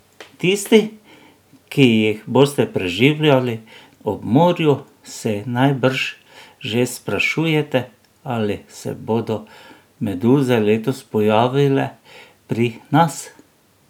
Tisti, ki jih boste preživljali ob morju, se najbrž že sprašujete, ali se bodo meduze letos pojavile pri nas?